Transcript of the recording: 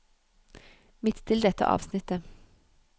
Midtstill dette avsnittet